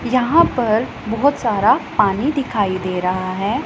यहां पर बहोत सारा पानी दिखाई दे रहा है।